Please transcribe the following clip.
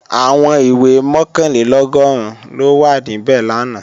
Àwọn ìwé mọ̀kànlélọ́gọ́rùn ló wà níbẹ̀ làná